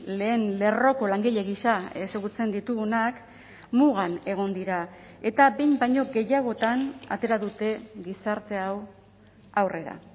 lehen lerroko langile gisa ezagutzen ditugunak mugan egon dira eta behin baino gehiagotan atera dute gizarte hau aurrera